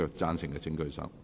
贊成的請舉手。